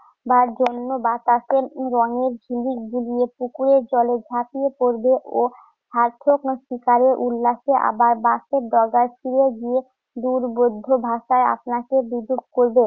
বার জন্য বাতাসে রঙের ঝিলিক বিলিয়ে পুকুরের জলে ঝাঁপিয়ে পড়বে ও উল্লাসে আবার বাঁশের ডগায় ফিরে গিয়ে দূর্বোধ্য ভাষায় আপনাকে বিদ্রুপ করবে।